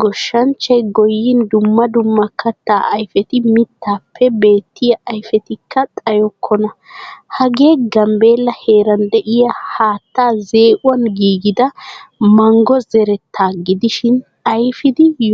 Gooshshanchchay gooyin dumma dumma katta ayfetti mittappe beettiya ayfettika xayokona. Hagee gambella heeran deiya haattaa zeeeuwan giigida manggo zeretta gidishin ayfidi yonddodiis.